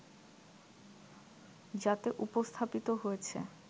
যাতে উপস্থাপিত হয়েছে